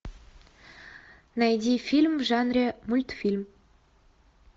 найди фильм в жанре мультфильм